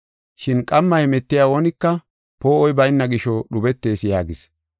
Shin qamma hemetiya oonika poo7oy bayna gisho, dhubetees” yaagis.